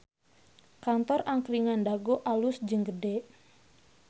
Kantor Angkringan Dago alus jeung gede